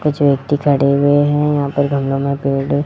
कुछ व्यक्ति खड़े हुए हैं यहां पर गमलों में पेड़ है।